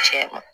Tiɲɛ na